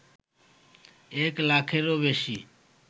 এক লাখেরও বেশি